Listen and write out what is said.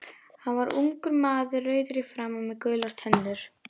Hann var ungur maður, rauður í framan með gular tennur.